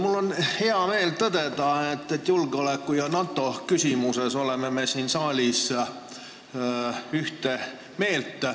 Mul on hea meel tõdeda, et julgeoleku ja NATO küsimuses me oleme siin saalis ühte meelt.